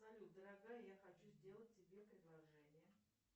салют дорогая я хочу сделать тебе предложение